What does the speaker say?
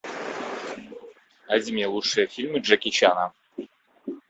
найди мне лучшие фильмы джеки чана